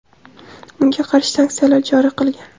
unga qarshi sanksiyalar joriy qilgan.